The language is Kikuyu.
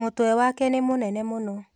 Mũtwe wake nĩ mũnene mũno